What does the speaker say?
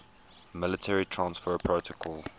mail transfer protocol